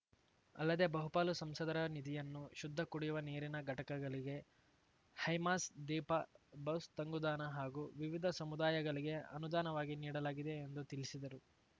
ಅಲ್ಲದೆ ಬಹುಪಾಲು ಸಂಸದರ ನಿಧಿಯನ್ನು ಶುದ್ಧ ಕುಡಿಯುವ ನೀರಿನ ಘಟಕಗಳಿಗೆ ಹೈಮಾಸ್‌ ದೀಪ ಬಸ್‌ ತಂಗುದಾಣ ಹಾಗೂ ವಿವಿಧ ಸಮುದಾಯಗಳಿಗೆ ಅನುದಾನವಾಗಿ ನೀಡಲಾಗಿದೆ ಎಂದು ತಿಳಿಸಿದರು